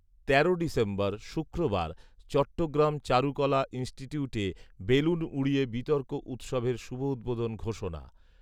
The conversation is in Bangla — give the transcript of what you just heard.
তেরোই ডিসেম্বর শুক্রবার চট্টগ্রাম চারুকলা ইন্সটিটিউটে বেলুন উড়িয়ে বিতর্ক উৎসবের শুভউদ্বোধন ঘোষণা